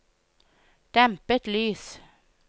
dempet lys